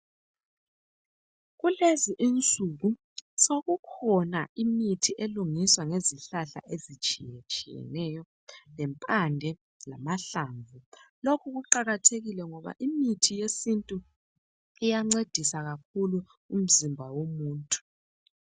Kulezi insuku, sekukhona imithi elungiswa ngezihlahla ezitshiyetshiyeneyo. Ngempande lamahlamvu. Lokhu kuqakathekile ngoba imithi yesintu, iyancedisa kakhulu umzimba womuntu.